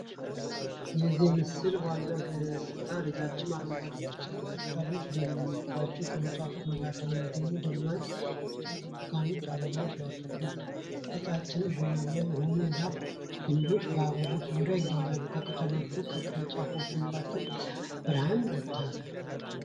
የዚህ ምስል ዋና ገጽታ ረዣዥም አረንጓዴ ቅጠሎች ባሉባቸው ቅርንጫፎች መካከል የሚገኙት ደማቅ ቢጫ-ብርቱካናማ አበባዎች ናቸው። ቀጫጭንና ቡናማ የሆኑ የዛፍ ግንዶች በአበቦቹ ዙሪያ ይገኛሉ። ከቅጠሎቹና ከቅርንጫፎቹ መካከል የሰማይ ብርሃን ይታያል።